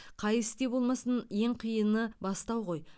қай істе болмасын ең қиыны бастау ғой